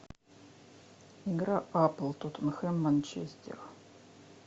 игра апл тоттенхэм манчестер